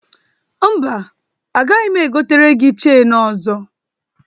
Mba, agaghị egotere gi cheni ọzọ.